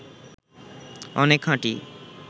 অনেক খাঁটি